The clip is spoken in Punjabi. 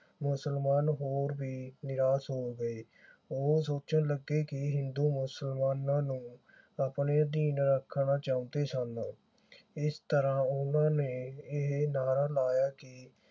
ਮੁਸਲਮਾਨ ਹੋਰ ਵੀ ਨਿਰਾਸ਼ ਹੋ ਗਏ ਉਹ ਸੋਚਣ ਲੱਗੇ ਕਿ ਹਿੰਦੂ ਮੁਸਲਮਾਨਾਂ ਨੂੰ ਆਪਣੇ ਅਧੀਨ ਰੱਖਣਾ ਚਾਹੁੰਦੇ ਸਨ। ਇਸ ਤਰ੍ਹਾਂ ਉਨ੍ਹਾਂ ਨੇ ਇਹ ਨਾਅਰਾ ਲਾਇਆ ਕਿ